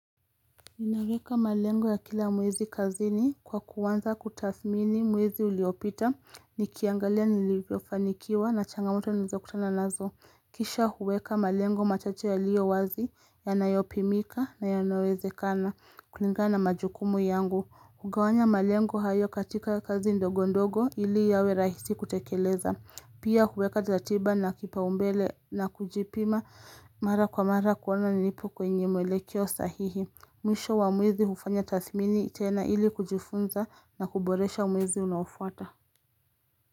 Ninaweka malengo ya kila mwezi kazini kwa kuanza kutathmini mwezi uliopita, nikiangalia nilivyofanikiwa na changamoto nilizokutana nazo. Kisha huweka malengo machache yaliyo wazi, yanayopimika na yanayouwezekana, kulingana majukumu yangu. Hugawanya malengo hayo katika kazi ndogo ndogo ili yawe rahisi kutekeleza. Pia huweka tatiba na kipao mbele na kujipima mara kwa mara kuona nipo kwenye mwelekeo sahihi. Mwisho wa mwezi hufanya tathmini tena ili kujifunza na kuboresha mwezi unafuata.